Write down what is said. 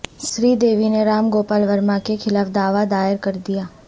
سری دیوی نے رام گوپال ورما کے خلاف دعوی دائر کر دیا